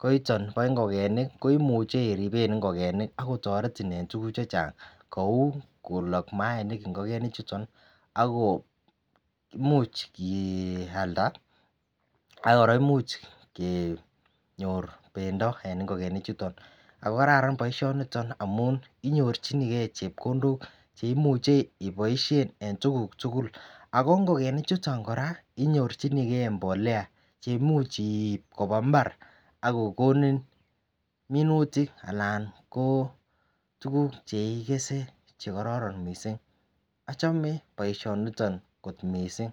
koiton ba ingogenik koimuche iriben ingogenik akomuch kotaretin en tuguk chechang Kou kolak imainik ingokiet anan ingokenik chuton akomuch keyalda akoraa koimuchi kenyor bendoben ingogenik chuton akokararan baishoni amun inyorchigei chepkondok cheimuche ibaishen en tuguk tugul ako ingokenik chuton koraa inyorchinigei mbolea cheimuch keib kobwa imbar akokonin minutik anan tuguk cheikese chekororon mising achome baishoni kot mising.